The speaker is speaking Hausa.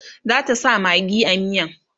zata sa maggi a miyan?